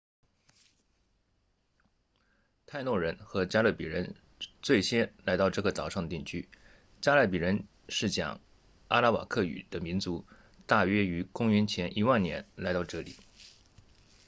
泰诺人 taínos 和加勒比人 caribes 最先来到这个岛上定居加勒比人是讲阿拉瓦克语 arawakan 的民族大约于公元前10000年来到这里